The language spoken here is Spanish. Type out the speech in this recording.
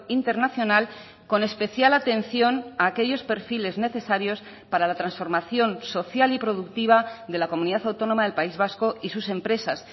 internacional con especial atención a aquellos perfiles necesarios para la transformación social y productiva de la comunidad autónoma del país vasco y sus empresas